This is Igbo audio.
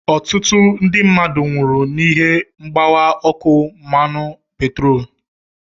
Ọtụtụ ndị mmadụ nwụrụ n'ihi mgbawa ọkụ mmanụ petroolu.